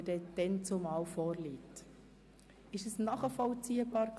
War das für alle nachvollziehbar?